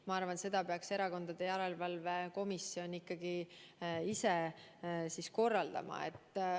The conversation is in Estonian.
Ma arvan, et selle peaks Erakondade Rahastamise Järelevalve Komisjon ikkagi ise otsustama.